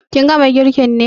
Ka gama girkin ne?